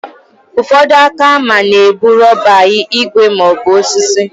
Ụfọdụ aka hama na abụ rọba, igwe maọbụ osisi.